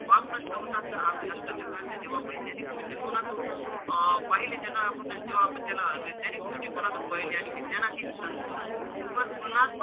पाप नष्ट होतात तर आम्ही अष्टचक्राच्या जीवावर वैज्ञानिक दृष्टिकोनातून अं पाहिले ज्यांना आपण ज्यांच्या जीवावर आपण त्याला वैज्ञानिक दृष्टिकोनानं पाहिले आणि विज्ञानाशी संतुल तुलना,